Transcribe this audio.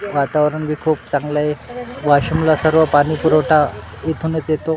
वातावरण बी खूप चांगला आहे वाशीमला सर्व पाणीपुरवठा इथूनच येतो.